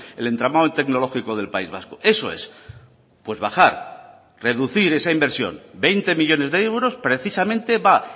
el entramado tecnológico del país vasco eso es pues bajar reducir esa inversión veinte millónes de euros precisamente va